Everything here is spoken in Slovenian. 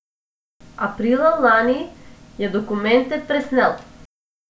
Aprila lani je dokumente presnel.